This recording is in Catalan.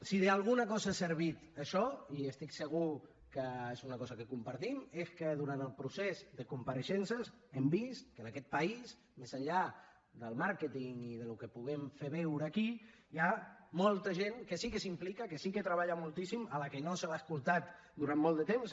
si d’alguna cosa ha servit això i estic segur que és una cosa que compartim és que durant el procés de compareixences hem vist que en aquest país més enllà del màrqueting i del que puguem fer veure aquí hi ha molta gent que sí que s’implica que sí que treballa moltíssim a la que no s’ha escoltat durant molt de temps